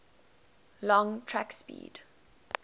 long track speed